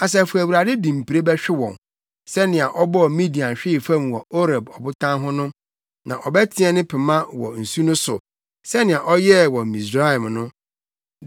Asafo Awurade de mpire bɛhwe wɔn, sɛnea ɔbɔɔ Midian hwee fam wɔ Oreb Ɔbotan ho no; na ɔbɛteɛ ne pema wɔ nsu no so, sɛnea ɔyɛɛ wɔ Misraim no.